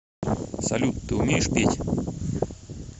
салют ты умеешь петь